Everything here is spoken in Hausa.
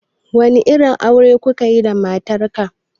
Wani irin aure kukayi da matar ka?